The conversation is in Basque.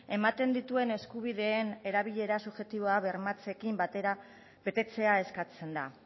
ematen dituen eskubideen erabilera subjektiboa bermatzearekin batera betetzea eskatzen da